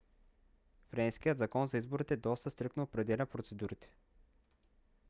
френският закон за изборите доста стриктно определя процедурите